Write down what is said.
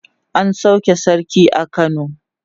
an sauke sarki a kano